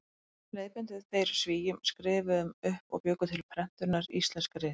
Leiðbeindu þeir Svíum, skrifuðu upp og bjuggu til prentunar íslensk rit.